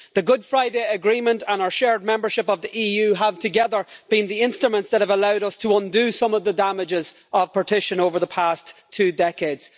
The Good Friday Agreement and our shared membership of the EU have together been the instruments that have allowed us to undo some of the damages of partition over the past two decades.